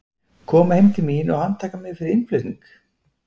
Koma heim til mín og handtaka mig fyrir innflutning?